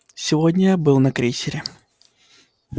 сегодня я был на крейсере